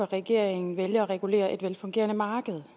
regeringen vælger at regulere et velfungerende marked